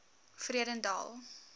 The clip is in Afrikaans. vredendal